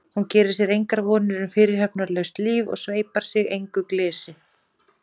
Hún gerir sér engar vonir um fyrirhafnarlaust líf og sveipar sig engu glysi.